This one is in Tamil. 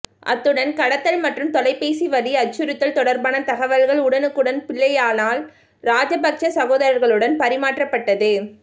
அத்துடன் கடத்தல் மற்றும் தொலைபேசி வழி அச்சுறுத்தல் தொடர்பான தகவல்கள் உடனுக்குடன் பிள்ளையானால் ராஜபக்ச சகோதரர்களுடன் பரிமாற்றப்பட்டது